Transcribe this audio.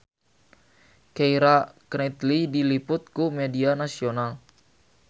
Keira Knightley diliput ku media nasional